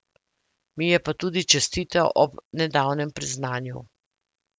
Mi je pa tudi čestital ob nedavnem priznanju.